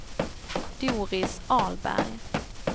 Doris Ahlberg